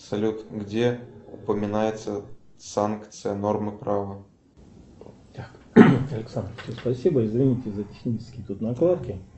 салют где упоминается санкция нормы права